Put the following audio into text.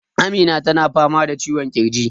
Amina ta na fama da ciwon ƙirji